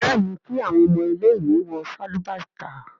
béèni kí awọn ọmọ ile-iwe wọ Sálúbàtà.